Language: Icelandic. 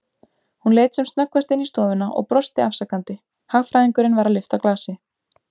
Hún leit sem snöggvast inn í stofuna og brosti afsakandi, hagfræðingurinn var að lyfta glasi.